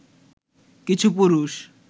কিছু পুরুষ